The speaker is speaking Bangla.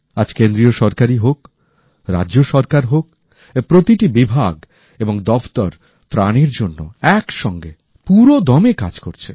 আজ কেন্দ্রীয় সরকারই হোক রাজ্য সরকার হোক এর প্রতিটি বিভাগ এবং দপ্তর ত্রাণের জন্য একসঙ্গে পুরোদমে কাজ করছে